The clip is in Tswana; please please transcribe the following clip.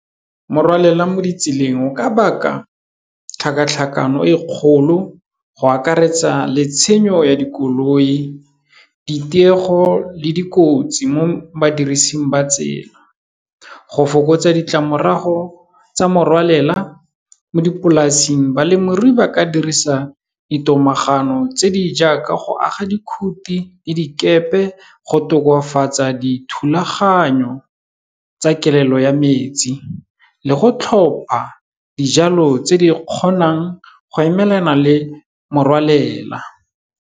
Morwalela mo ditseleng o ka baka tlhakatlhakano e kgolo, go akaretsa le tshenyo ya dikoloi, ditiego le dikotsi mo badirising ba tsela. Go fokotsa ditlamorago tsa morwalela mo dipolasing, balemirui ba ka dirisa di tomagano tse di jaaka go aga dikhuti le dikepe, go tokafatsa dithulaganyo tsa kelelo ya metsi le go tlhopha dijalo tse di kgonang go emelana le morwalela.